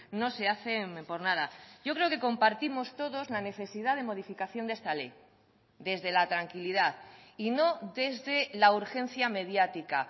no se hacen por nada yo creo que compartimos todos la necesidad de modificación de esta ley desde la tranquilidad y no desde la urgencia mediática